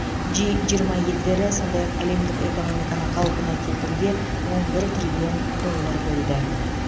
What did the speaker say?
джи жиырма елдері сондай ақ әлемдік экономиканы қалпына келтіруге он бір триллион доллар бөлді